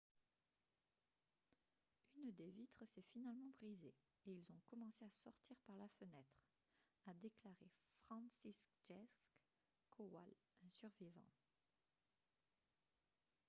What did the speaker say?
« une des vitres s'est finalement brisée et ils ont commencé à sortir par la fenêtre » a déclaré franciszek kowal un survivant